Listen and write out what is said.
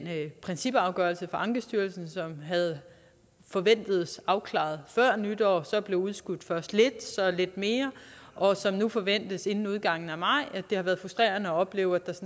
principafgørelse fra ankestyrelsen som forventedes afklaret før nytår så blev udskudt først lidt så lidt mere og som nu forventes inden udgangen af maj har været frustrerende at opleve at der